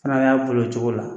A y'a boli o cogo la.